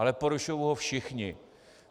Ale porušují ho všichni.